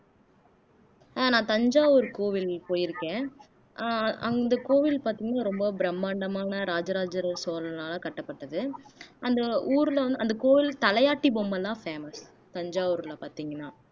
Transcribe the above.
அஹ் நான் தஞ்சாவூர் கோவில் போயிருக்கேன் அ அந்த கோவில் பார்த்தீங்கன்னா ரொம்ப பிரம்மாண்டமான இராஜராஜ சோழனால கட்டப்பட்டது அந்த ஊர்ல வந்து அந்த கோவில் தலையாட்டி பொம்மைதான் famous தஞ்சாவூர்ல பார்த்தீங்கன்னா